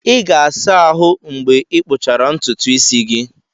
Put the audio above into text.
Ị ga-asa ahụ mgbe ịkpụchara ntutu isi gị.